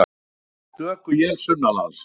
Stöku él sunnanlands